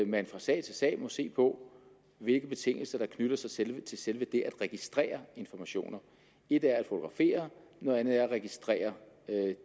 man fra sag til sag må se på hvilke betingelser der knytter sig til til selve det at registrere informationer et er at fotografere noget andet er at registrere